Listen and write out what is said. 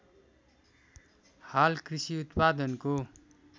हाल कृषि उत्पादनको